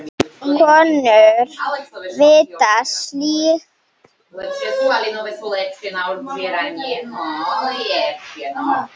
Konur vita slíkt.